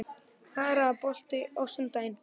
Kara, er bolti á sunnudaginn?